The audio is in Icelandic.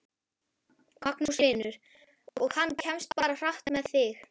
Magnús Hlynur: Og hann kemst bara hratt með þig?